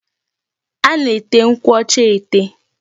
A na-ete nkwụ ọcha ete.